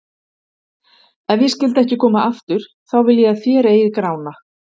Ef ég skyldi ekki koma aftur, þá vil ég að þér eigið Grána.